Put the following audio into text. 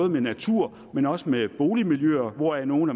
med naturen men også med boligmiljøerne hvoraf nogle